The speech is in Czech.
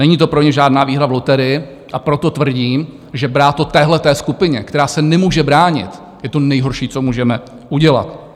Není to pro ně žádná výhra v loterii, a proto tvrdím, že brát to téhle skupině, která se nemůže bránit, je to nejhorší, co můžeme udělat.